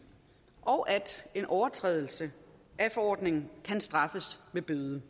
og at en overtrædelse af forordningen kan straffes med bøde